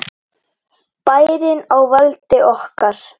Bærinn á valdi okkar!